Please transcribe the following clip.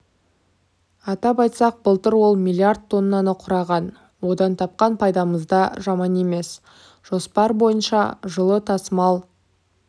атап айтсақ былтыр ол миллиард тоннаны құраған одан тапқан пайдамызда жаман емес жоспар бойынша жылы тасымал